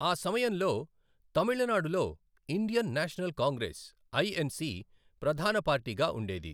ఆ సమయంలో తమిళనాడులో ఇండియన్ నేషనల్ కాంగ్రెస్, ఐఎన్సి ప్రధాన పార్టీగా ఉండేది.